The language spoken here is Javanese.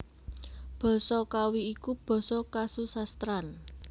Basa Kawi iku basa kasusastran